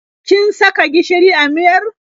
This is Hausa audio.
Kin saka gishiri a miyar?